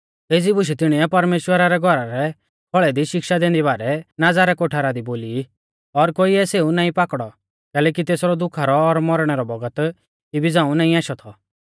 एज़ी बुशै तिणीऐ परमेश्‍वरा रै घौरा रै खौल़ै दी शिक्षा दैंदी बारै नाज़ा रै कोठारा दी बोली ई और कोइऐ सेऊ नाईं पाकड़ौ कैलैकि तेसरौ दुखा रौ और मौरणै रौ बौगत इबी झ़ांऊ नाईं आशौ थौ